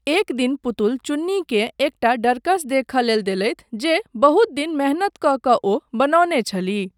एक दिन, पुतुल चुन्नीकेँ एकटा डँड़कस देखय लेल देलथि जे बहुत दिन मेहनत कऽ कऽ ओ बनौने छलीह।